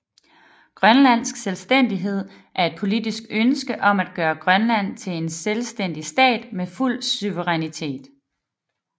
Grønlandsk selvstændighed er et politisk ønske om at gøre Grønland til en selvstændig stat med fuld suverænitet